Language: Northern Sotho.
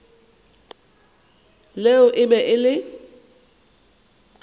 leo e be e le